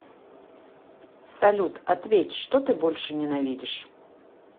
салют ответь что ты больше ненавидишь